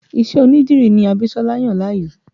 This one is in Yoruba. Ìṣe onídìrí ní Abisola yàn láàyò